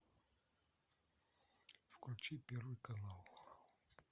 включи первый канал